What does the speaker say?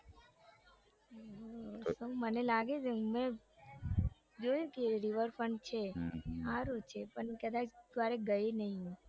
હમ મને લાગે છે કે મેં જોયું કે rever front છે સારું છે પણ ક્યારેય ગઈ નઈ હું.